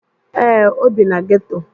Ee, o bi na geto